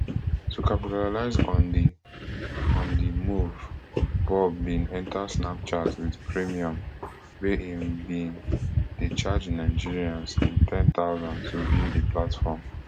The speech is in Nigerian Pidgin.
to capitalize on di on di move bob bin enta snapchat wit premium wia im bin dey charge nigerians n ten thousand to view di platform